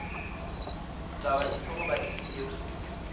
taba efe goba efe yeo